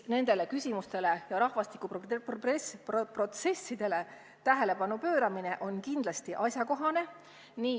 Nendele küsimustele, rahvastikuprotsessidele tähelepanu pööramine on kindlasti asjakohane.